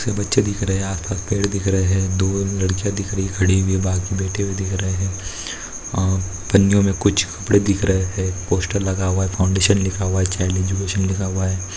बहुत से बच्चे दिख रहे आस पास पेड़ दिख रहे है दो लड्कीया दिखरही खड़ी हुई बाकी बैठे हुए दिख रहे है अह पन्नियों मे कुछ कपड़े दिख रहे है पोस्टर लगा हुआ है फ़ाउंडेशन लिखा हुआ है चाइल्ड एजुकेशन लिखा हुआ है।